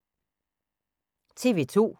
TV 2